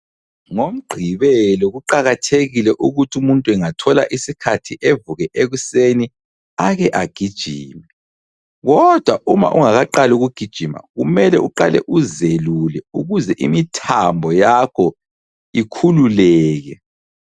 Ngomgqibelo, kuqakathekile ukuthi umuntu engathola isikhathi avuke ekuseni ake agijime. Kodwa uma ungakaqali ukugijima, kumele uqale uzelule ukuze imthambo yakho ikhululeke.